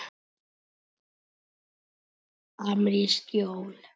Amerísk jól.